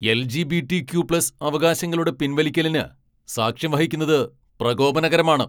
LGBTQ plus അവകാശങ്ങളുടെ പിൻവലിക്കലിന് സാക്ഷ്യം വഹിക്കുന്നത് പ്രകോപനകരമാണ്.